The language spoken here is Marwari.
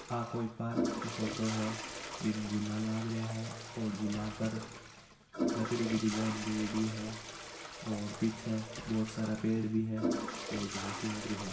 आ कोई पार्क की फोटो है बीम झुला लाग रिया है और झूला पर लकड़ी की डिजाइन दियेडी है और पीछे बहुत सारा पेड़ भी है और घास लागरी हैं।